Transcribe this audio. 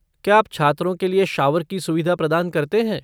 क्या आप छात्रों के लिए शॉवर की सुविधा प्रदान करते हैं?